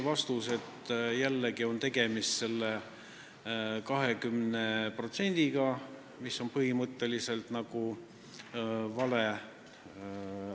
Vastuseks öeldi, et tegemist on selle 20%-ga, mis on põhimõtteliselt nagu vale.